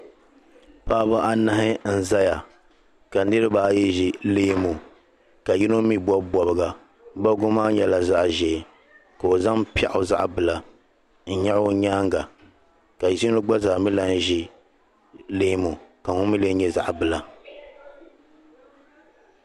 paɣaba anahi n zaya ka niriba ayi zi leemu ka yino mii bobi bobga bobgi maa nyela zaɣa ʒee ka o zaŋ piaɣu zaɣa bila n nyaɣi o nyaaŋa ka yino mii ʒi leemu ka ŋun mi nye zaɣa bila